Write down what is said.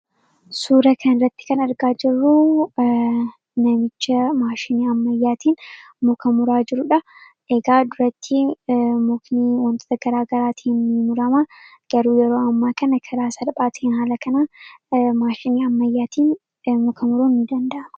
suura kaniratti kan argaa jirruu namicha maashinii ammayyaatiin mukamuraa jiruudha egaa duratti muknii wantoota garaa garaatiii murama garuu yeroo ammaa kana karaa salphaati hin haala kanaa maashinii ammayyaatiin mukamuroo in danda'mu